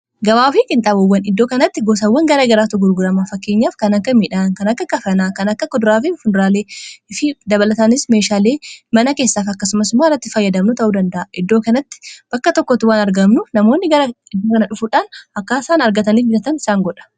gabaafi ginxabawwan iddoo kanatti gosawwan gara garaatoo gurguraamaa fakkeenyaaf kan akka h midhaan kana akka kafanaa kana akka kuduraafi fundraalei fi dabalatanis meeshaalei mana keessaaf akkasumasumaa rratti fayyadamnu ta'uu danda'a iddoo kanatti bakka tokkot waan argaamnu namoonni gara iddoo kana dhufuudhaan akka isaan argatanii biratan isaan godha